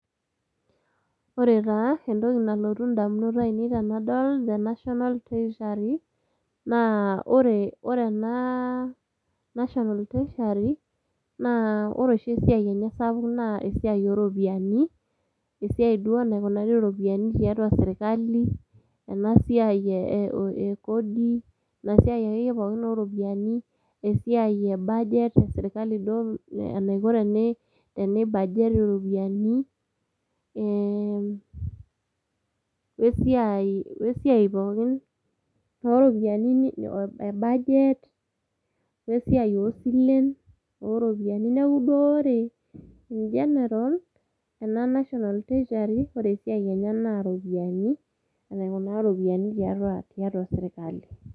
Ore taa entoki nalotu indamunot ainei tenadol The National Treasury, naa ore ore naaa, National Treasurery, naa ore oshi esiai enye apuk naa esiai ooropiyani, esiai duo naikunari iropiyni tiatua serkali , ena siai ee ee kodi ina siai akeye pookin ooropiyani esiai ebaget eserkali duo ee enaiko piibaget iropiyani eeem wesiai wesiai pookin ooropiyani nini ebaget wesiai oosilen, ooropiyani neeku duo ore cs[ in general]cs ena National Treasury naa enaikunaa iropiyani tiatua serkali.